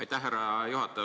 Aitäh, härra juhataja!